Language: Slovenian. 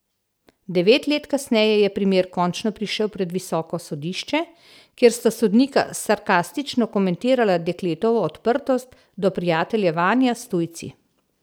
Devet let kasneje je primer končno prišel pred visoko sodišče, kjer sta sodnika sarkastično komentirala dekletovo odprtost do prijateljevanja s tujci.